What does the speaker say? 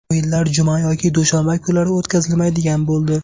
O‘yinlar juma yoki dushanba kunlari o‘tkazilmaydigan bo‘ldi.